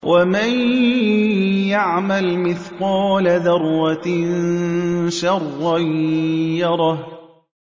وَمَن يَعْمَلْ مِثْقَالَ ذَرَّةٍ شَرًّا يَرَهُ